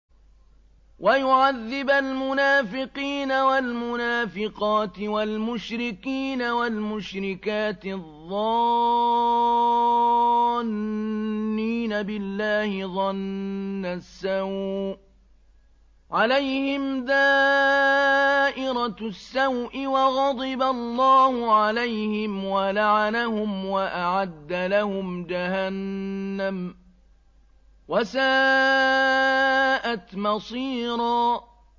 وَيُعَذِّبَ الْمُنَافِقِينَ وَالْمُنَافِقَاتِ وَالْمُشْرِكِينَ وَالْمُشْرِكَاتِ الظَّانِّينَ بِاللَّهِ ظَنَّ السَّوْءِ ۚ عَلَيْهِمْ دَائِرَةُ السَّوْءِ ۖ وَغَضِبَ اللَّهُ عَلَيْهِمْ وَلَعَنَهُمْ وَأَعَدَّ لَهُمْ جَهَنَّمَ ۖ وَسَاءَتْ مَصِيرًا